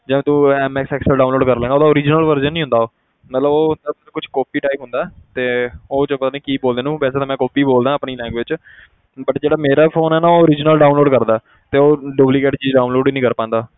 ਜਾਂ ਤੂੰ MS excel download ਕਰ ਲਵੇਂਗਾ ਉਹਦਾ original version ਨੀ ਹੁੰਦਾ ਉਹ ਮਤਲਬ ਉਹ ਹੁੰਦਾ ਕੁਛ copy type ਹੁੰਦਾ ਹੈ ਤੇ ਉਹ ਜੋ ਪਤਾ ਨੀ ਕੀ ਬੋਲਦੇ ਉਹਨੂੰ ਵੈਸੇ ਤਾਂ ਮੈਂ copy ਬੋਲਦਾਂ ਆਪਣੀ language 'ਚ but ਜਿਹੜਾ ਮੇਰਾ phone ਹੈ ਨਾ ਉਹ original downlaod ਕਰਦਾ ਹੈ ਤੇ ਉਹ duplicate ਚੀਜ਼ download ਹੀ ਨੀ ਕਰ ਪਾਉਂਦਾ,